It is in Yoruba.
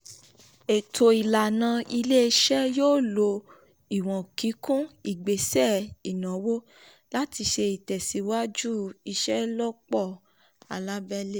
ètò ìlànà ilé-iṣẹ́ yóò lo ìwọ̀n kíkún ìgbésẹ̀ ìnáwó láti ṣe ìtẹ̀síwájú ìṣelọ́pọ̀ alábẹ́lẹ̀.